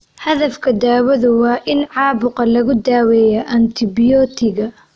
Hadafka daawadu waa in caabuqa lagu daweeyo antibiyootiga.